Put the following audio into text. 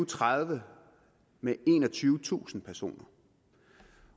tredive med enogtyvetusind personer